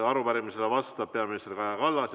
Arupärimisele vastab peaminister Kaja Kallas.